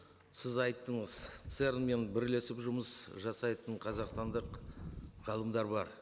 сіз айттыңыз церн мен бірлесіп жұмыс жасайтын қазақстандық ғалымдар бар